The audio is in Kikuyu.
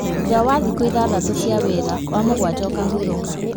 Thutha wa thikũ ithathatũ cia wĩra ya mũgwanja ũkahurũka